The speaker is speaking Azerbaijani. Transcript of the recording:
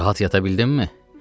Rahat yata bildinmi?